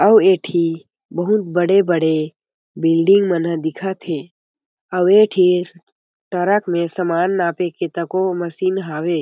अउ ए ठी बहुत बड़े-बड़े बिल्डिंग मन ह दिखत हें अऊ एक ठी ट्रक में समान नापे के तको मशीन हावे।